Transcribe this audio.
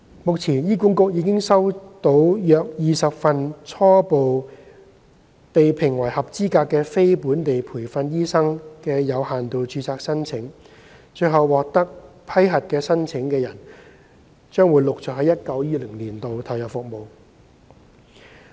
目前，醫管局已經收到約20份初步被評為合資格的非本地培訓醫生的有限度註冊申請，最後獲得批核的申請人，將會於 2019-2020 年度陸續投入服務。